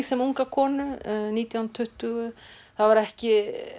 sem unga konu nítján tuttugu þá er ekki